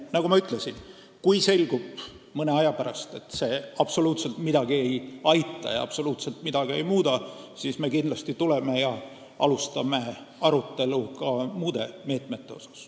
Nagu ma ütlesin, kui mõne aja pärast selgub, et see absoluutselt ei aita ja midagi ei muuda, siis me kindlasti alustame arutelu ka muude meetmete üle.